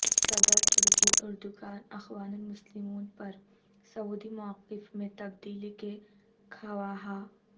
صدر ترکی اردگان اخوان المسلمون پر سعودی موقف میں تبدیلی کے خواہاں